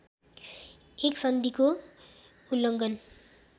एक सन्धिको उल्लङ्घन